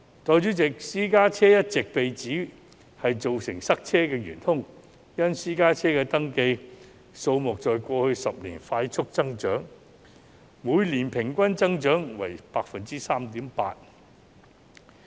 代理主席，私家車一直被指是造成塞車的元兇，因為私家車的登記數目在過去10年快速增長，每年平均增長率為 3.8%。